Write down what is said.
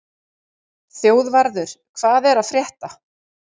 Þjóðvarður, hvað er að frétta?